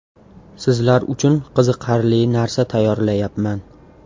Sizlar uchun qiziqarli narsa tayyorlayapman.